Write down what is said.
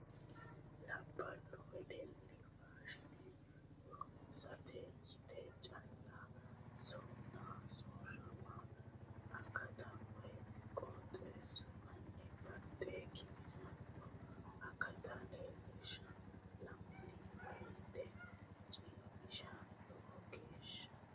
Labbalu wedelli faashine harunsate yite calla sona sooramo akata woyi qooxxeesuwinni baxe giwisano akata leelishana la'nanni woyte cemishano lowo geeshsha.